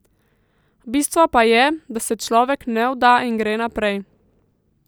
Bistvo pa je, da se človek ne vda in gre naprej.